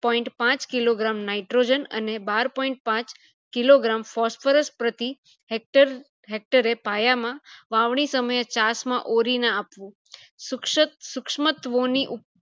point પાંચ kilogram nitrogen અને બાર point પાંચ kilogram phosphorous પ્રતિ hector hector એ પાયા માં વાવણી સમયે ચાસ માં ઓરીને આપવું સુક્શત શુક્શાત્મ ઓ ની